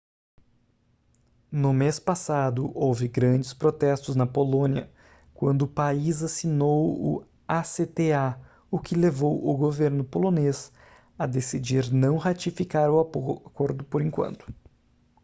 no mês passado houve grandes protestos na polônia quando o país assinou o acta o que levou o governo polonês a decidir não ratificar o acordo por enquanto